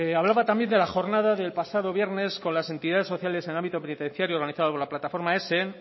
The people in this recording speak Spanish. hablaba también de la jornada del pasado viernes con las entidades sociales en ámbito penitenciario organizado por la plataforma esen